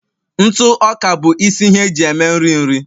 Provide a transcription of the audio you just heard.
ntụ ọka bụ isi ihe eji eme nri nri